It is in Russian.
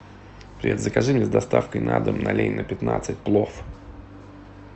привет закажи мне с доставкой на дом на ленина пятнадцать плов